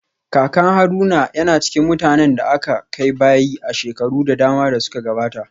Kakan Haruna yana cikin mutanen da aka kai bayi a shekaru da dama da suka gabata